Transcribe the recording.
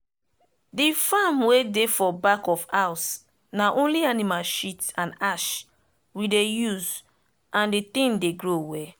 the farm wey dey for back of house na only animal shit and ash we dey use and the thing dey grow well.